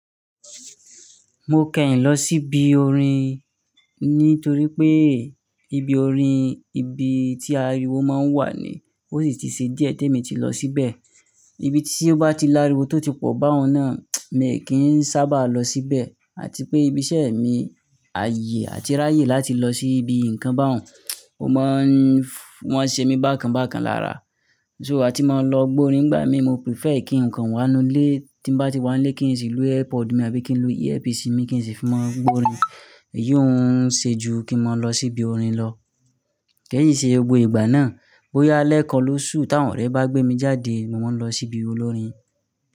Mo kẹ́yìn lọ sí ibi orin, nítorí pé ibi orin ibi tí ariwo máa ń wà ni. Ó sì ti ṣe díẹ̀ tí èmi ti lọ síbẹ̀. Ibi tí ó bá ti lariwo tó ti pọ̀ bá òun náà, èmi kì í sábà lọ síbẹ̀. Àti pé ibi iṣẹ́ mi, àyè àti ráyè láti lọ sí ibi ǹkan bá òun, ó máa ń-- wọ́n ṣe mí bákan bákan lára. Ṣùgbọ́n tí mo lọ gba orin gbà mí, mo prefer kí ǹkan wá nu ilé. Tí bá ti wá ilé kí n sì lu earpord mi àbí kí n lo Earpiece mi kí n sì fi mọ gba orin. Èyí ò ún ṣe ju kí mo lọ sí ibi orin lọ. Kéyìn ṣe gbogbo ìgbà náà, bóyá lẹ́ẹ̀kan ló ṣú, táwọn ọ̀rẹ́ bá gbé mi jáde, mo wọ́n ń lọ sí ibi olórin.